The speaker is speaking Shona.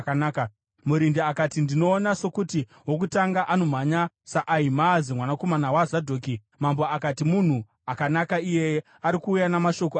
Murindi akati, “Ndinoona sokuti wokutanga anomhanya saAhimaazi mwanakomana waZadhoki.” Mambo akati, “Munhu akanaka iyeye. Ari kuuya namashoko akanaka.”